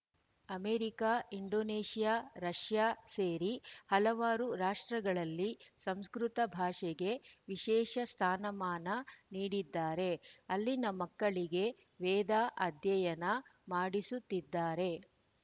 America Indonesia Russia ಸೇರಿ ಹಲವಾರು ರಾಷ್ಟ್ರಗಳಲ್ಲಿ ಸಂಸ್ಕೃತ ಭಾಷೆಗೆ ವಿಶೇಷ ಸ್ಥಾನಮಾನ ನೀಡಿದ್ದಾರೆ ಅಲ್ಲಿನ ಮಕ್ಕಳಿಗೆ ವೇದ ಅಧ್ಯಯನ ಮಾಡಿಸುತ್ತಿದ್ದಾರೆ